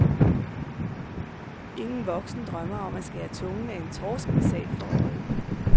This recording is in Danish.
Ingen voksen drømmer om at skære tungen af en torsk med salg for øje.